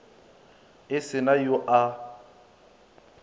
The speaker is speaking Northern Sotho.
e se na yo a